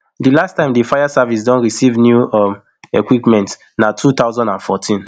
di last time di fire service don receive new um equipment na two thousand and fourteen